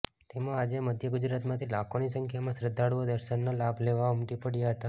તેમાં આજે મધ્ય ગુજરાતમાંથી લાખોની સંખ્યામાં શ્રદ્ધાળુઓ દર્શનનો લાભ લેવા ઉમટી પડ્યાં હતા